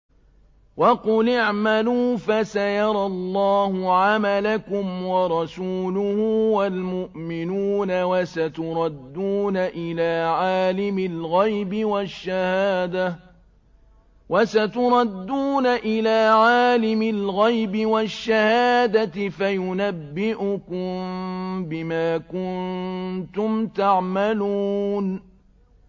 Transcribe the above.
وَقُلِ اعْمَلُوا فَسَيَرَى اللَّهُ عَمَلَكُمْ وَرَسُولُهُ وَالْمُؤْمِنُونَ ۖ وَسَتُرَدُّونَ إِلَىٰ عَالِمِ الْغَيْبِ وَالشَّهَادَةِ فَيُنَبِّئُكُم بِمَا كُنتُمْ تَعْمَلُونَ